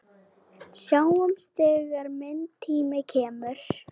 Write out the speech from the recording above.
Sjáumst þegar minn tími kemur.